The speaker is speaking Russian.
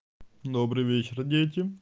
добрый вечер дети